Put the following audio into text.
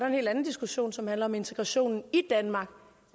helt andet diskussion som handler om integration i danmark